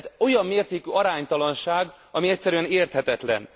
Olyan mértékű aránytalanság, ami egyszerűen érthetetlen.